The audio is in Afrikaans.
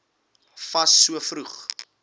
fas so vroeg